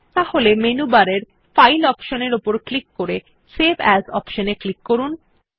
তাহলে মেনু বারের file option এ ক্লিক করে সেভ এএস অপশন এ ক্লিক করুন